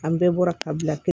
An bɛɛ bɔra ka bila pewu